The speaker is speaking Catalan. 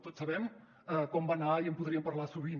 tots sabem com va anar i en podríem parlar sovint